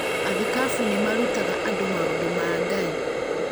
Athikabu nĩ marutaga andũ maũndũ ma Ngai